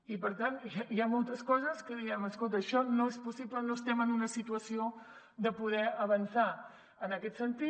i per tant hi ha moltes coses que diem escolta això no és possible no estem en una situació de poder avançar en aquest sentit